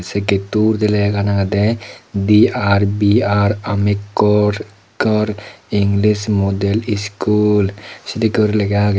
yegato delegan agedy dr br amekor sukor english model skul.